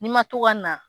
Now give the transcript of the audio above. N'i ma to ka na